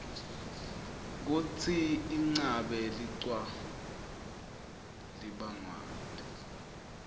kutsi inqabe licwa libangwaytni